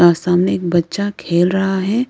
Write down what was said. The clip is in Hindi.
यहां सामने एक बच्चा खेल रहा है।